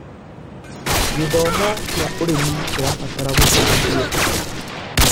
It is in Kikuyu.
Gĩthomo kĩa ũrĩmi kĩrabatara gũtambio.